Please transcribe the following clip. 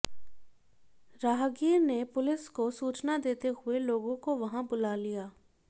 राहगीर ने पुलिस को सूचना देते हुए लोगों को वहां बुला लिया